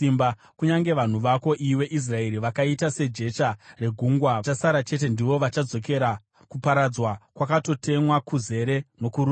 Kunyange vanhu vako, iwe Israeri, vakaita sejecha regungwa, vachasara chete ndivo vachadzokera. Kuparadzwa kwakatotemwa, kuzere nokururama.